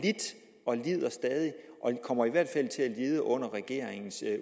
og lider stadig og de kommer i hvert fald til at lide under regeringens